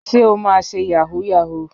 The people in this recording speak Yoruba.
Ṣé o máa ṣe Yàhooyahoo?